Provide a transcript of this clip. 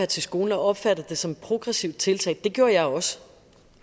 til skolen og opfattede det som et progressivt tiltag det gjorde jeg også